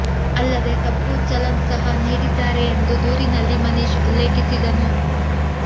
ಅಲ್ಲದೇ ತಪ್ಪು ಚಲನ್ ಸಹ ನೀಡಿದ್ದಾರೆ ಎಂದು ದೂರಿನಲ್ಲಿ ಮನೀಶ್ ಉಲ್ಲೇಖಿಸಿದ್ದನು